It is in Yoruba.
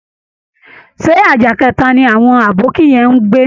Ṣé àjà kẹta ni àwọn Àbóki yẹn ń gbé?